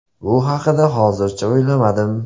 Bu haqida hozircha o‘ylamadim.